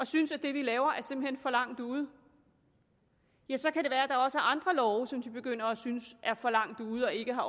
synes at det vi laver simpelt for langt ude ja så kan det være at der også er andre love som de begynder at synes er for langt ude og ikke